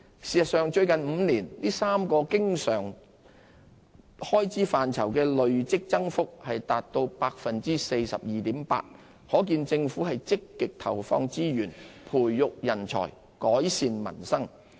事實上，最近5年，這3個經常開支範疇的累積增幅達 42.8%， 可見政府積極投放資源培育人才，改善民生。